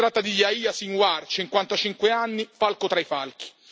Si tratta di Yahya Sinwar, 55 anni, falco tra i falchi.